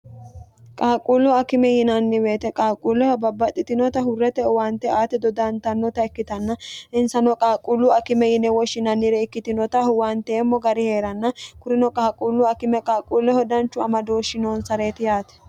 qaaqquullu akime yinanniweete qaaqquulleho babbaxxitinota hurrete uwaante aati dodantannota ikkitanna insano qaaqquullu akime yine woshshinannire ikkitinota huwanteemmo gari hee'ranna kurino qaaqquullu akime qaaqquulleho danchu ama dooshshi noonsareeti yaate